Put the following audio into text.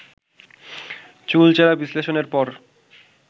চুলচেরা বিশ্লেষণের পর